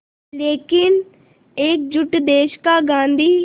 लेकिन एकजुट देश का गांधी